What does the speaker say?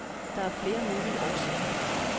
Der er flere mulige årsager.